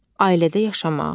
Ailədə yaşamaq.